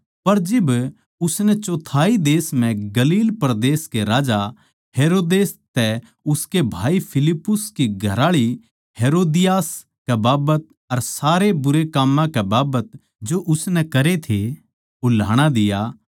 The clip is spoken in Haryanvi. पर जिब उसनै चौथाई देश म्ह गलील परदेस के राजा हेरोदेस तै उसके भाई फिलिप्पुस की घरआळी हेरोदियास कै बाबत अर सारे बुरे काम्मां कै बाबत जो उसनै करे थे उल्हाणा दिया